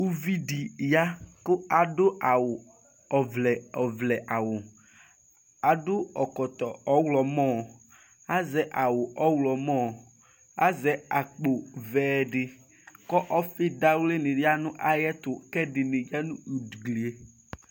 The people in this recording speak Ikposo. uvidi ya ku adu awu ɔvlɛ, ɔvlɛ awuadu ɛkɔtɔ ɔɣlɔmɔazɛ awu ɔɣlɔmɔ azɛ akpo vɛɛ diku ɔfi dawli ni yanu ayiʋ ɛtu ku ɛdi ni yanʋ